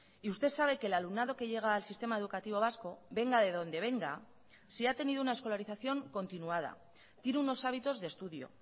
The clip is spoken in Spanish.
y usted sabe que el alumnado que llega al sistema educativo vasco venga de donde venga si ha tenido una escolarización continuada tiene unos hábitos de estudio